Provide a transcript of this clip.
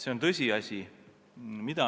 See on tõsiasi.